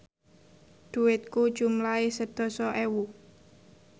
dhuwitku jumlahe sedasa ewu